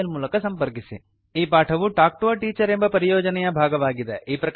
ಈ ಪಾಠವು talk to a teacher project ಎಂಬ ಪರಿಯೋಜನೆಯ ಭಾಗವಾಗಿದೆ